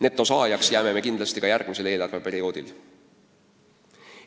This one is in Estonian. Netosaajaks jääme me kindlasti ka järgmisel eelarveperioodil.